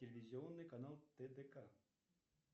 телевизионный канал тдк